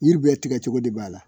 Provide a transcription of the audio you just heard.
Yiri bɛɛ tigɛ cogo de b'a la.